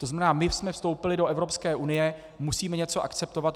To znamená, my jsme vstoupili do Evropské unie, musíme něco akceptovat.